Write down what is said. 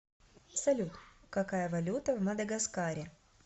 салют какая валюта в мадагаскаре